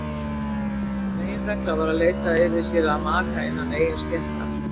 Meginregla var að leita yrði sér maka innan eigin stéttar.